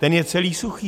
Ten je celý suchý.